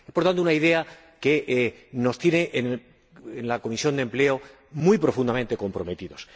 Es, por tanto, una idea que nos tiene en la Comisión de Empleo muy profundamente comprometidos.